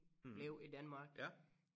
Blive i Danmark